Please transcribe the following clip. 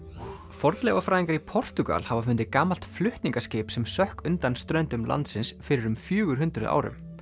fornleifafræðingar í Portúgal hafa fundið gamalt flutningaskip sem sökk undan ströndum landsins fyrir um fjögur hundruð árum